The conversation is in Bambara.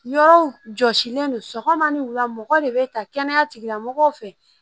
Yɔrɔw jɔsilen don sɔgɔma ni wula mɔgɔ de bɛ ta kɛnɛya tigilamɔgɔw fɛ